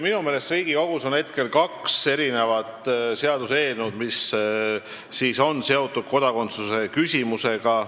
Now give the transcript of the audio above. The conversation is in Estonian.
Minu meelest on Riigikogus praegu kaks seaduseelnõu, mis on seotud kodakondsuse küsimusega.